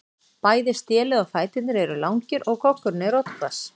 Bæði stélið og fæturnir eru langir og goggurinn er oddhvass.